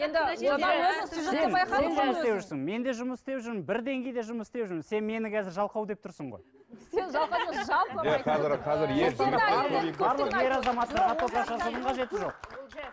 мен де жұмыс істеп жүрмін бір деңгейде жұмыс істеп жүрміз сен мені қазір жалқау деп тұрсың ғой сен жалқау емес жалпы